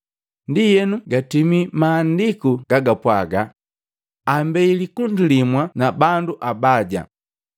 Ndienu gatimi Mahandiku gagapwaga, “Ambei likundi limu na bandu abaya.”